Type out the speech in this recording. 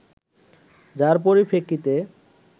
যার পরিপ্রেক্ষিতে